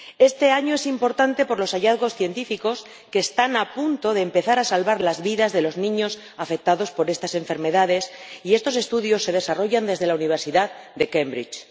Este año es importante por los hallazgos científicos, que están a punto de empezar a salvar las vidas de los niños afectados por estas enfermedades, y estos estudios se desarrollan desde la Universidad de Cambridge.